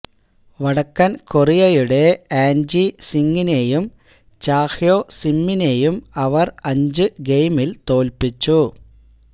വടക്കന് കൊറിയയുടെ An Ji സിംഗിനെയും Cha Hyo സിമ്മിനെയും അവര് അഞ്ച് ഗെയിമില് തോല്പിച്ചു